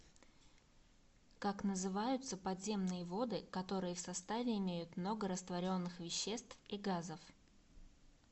как называются подземные воды которые в составе имеют много растворенных веществ и газов